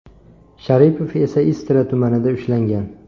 Sharipov esa Istra tumanida ushlangan.